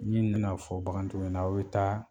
N'i nan'a fɔ bagantigiw ɲɛna aw be taa